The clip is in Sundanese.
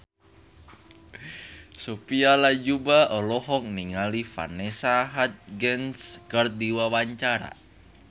Sophia Latjuba olohok ningali Vanessa Hudgens keur diwawancara